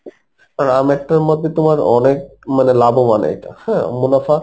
কারণ আমেরটার মধ্যে তোমার অনেক মানে লাভোবান এইটা হ্যাঁ মুনাফা